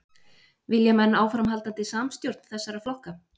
Vilja menn áframhaldandi samstjórn þessara flokka?